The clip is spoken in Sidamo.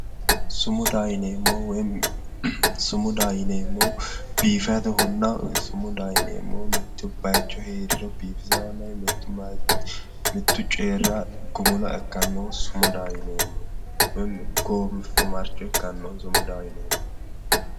Sumudaho yineemmohu woyi sumudaho yineemmohu biifadohonna woyi sumudaho yineemmohu mitto bayicho heeriro biifisaahonna mittu coyira gumula ikkannoho sumudaho yineemmohu woyi goofimarcho ikkannoho sumudaho yineemmohu.